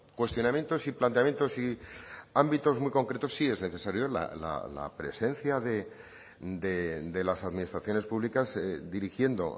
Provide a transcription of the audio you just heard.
cuestionamientos y planteamientos y ámbitos muy concretos sí es necesario la presencia de las administraciones públicas dirigiendo